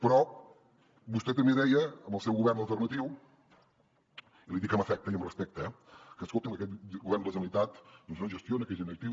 però vostè també deia amb el seu govern alternatiu i li dic amb afecte i amb respecte que escoltin que aquest govern la generalitat no gestiona que és inactiu